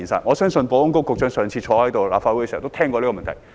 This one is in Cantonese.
我相信保安局局長上次出席立法會會議時也聽過這個問題。